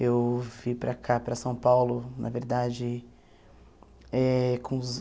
Eu vim para cá, para São Paulo, na verdade, eh com uns